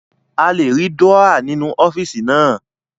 A lè rí Dúrọ́à nínú ọ́fíìsì naa